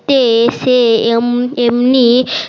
তে সে এমনি